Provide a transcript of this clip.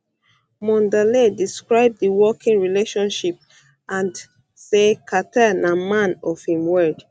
um mondale describe di working relationship and um say carter na man of im word